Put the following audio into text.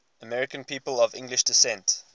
american people of english descent